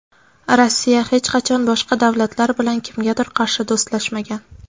Rossiya hech qachon boshqa davlatlar bilan kimgadir qarshi do‘stlashmagan.